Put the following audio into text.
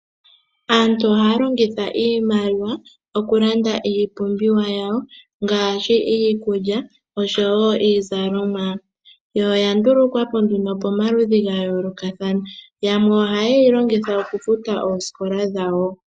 Aantu ohaya longitha iimaliwa okulanda iipumbiwa yawo ngaashi iikulya, osho wo iizalomwa. Yo oya ndulukwapo nduno pomaludhi ga yoolokathana. Yamwe ohaye yi longitha okufuta oosikola dhawo.